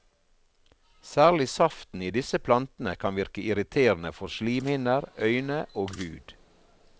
Særlig saften i disse plantene kan virke irriterende for slimhinner, øyne og hud.